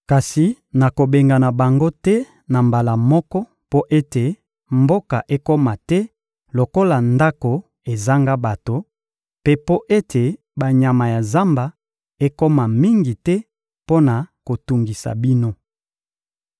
Kasi nakobengana bango te na mbala moko mpo ete mboka ekoma te lokola ndako ezanga bato, mpe mpo ete banyama ya zamba ekoma mingi te mpo na kotungisa bino.